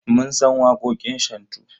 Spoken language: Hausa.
Mun san waƙoƙin shantu.